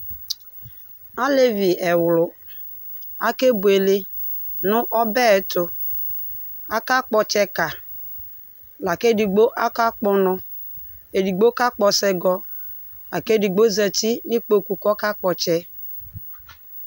Alevi ɛwlʋ ake buele nʋ ɔbɛ yɛ ɛtʋ Akakpɔ ɔtsɛka, lakʋ edigbo ɔkakpɔ ɔnɔ Edigbo kakpɔ asɔgɔ akʋ edigbo zǝtɩ nʋ ɩkpoku kʋ ɔkakpɔ ɔtsɛ